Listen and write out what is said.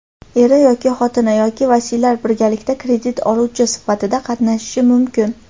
eri yoki xotini) yoki vasiylari birgalikda kredit oluvchi sifatida qatnashishi mumkin.